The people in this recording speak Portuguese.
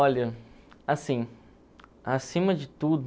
Olha, assim, acima de